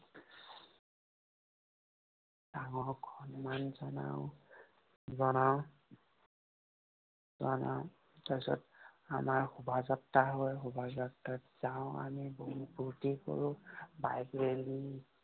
ডাঙৰক সন্মান জনাওঁ, জনাওঁ। জনাওঁ। তাৰপিছত আমাৰ শুভাযাত্ৰা হয়। শুভাযাত্ৰাত যাওঁ আমি, বহুত ফুৰ্তি কৰোঁ। Bike rally